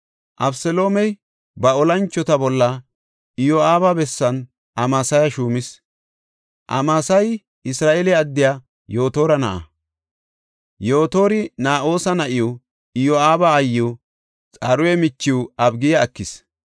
Abeseloomey ba olanchota bolla Iyo7aaba bessan Amasaya shuumis. Amasayi Isra7eele addiya Yotora na7a. Yotori Na7oosa na7iw, Iyo7aaba aayiw Xaruya michiw Abigiya ekis.